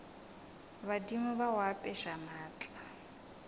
badimo ba go apeša maatla